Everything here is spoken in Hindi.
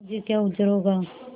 मुझे क्या उज्र होगा